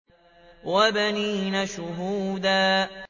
وَبَنِينَ شُهُودًا